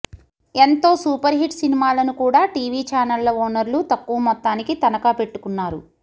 ఎంతో super hit సినిమాలను కూడా టీవీ ఛానళ్ల ఓనర్లు తక్కువ మొత్తానికి తనఖా పెట్టుకున్నారు